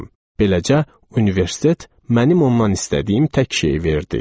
Beləcə, universitet mənim ondan istədiyim tək şeyi verdi.